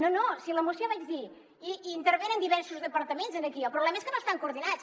no no si a la moció vaig dir hi intervenen diversos departaments aquí el problema és que no estan coordinats